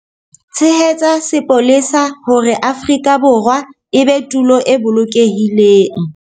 Tshehetsa sepolesa hore Afrika Borwa e be tulo e bolokehileng.